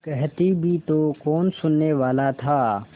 कहती भी तो कौन सुनने वाला था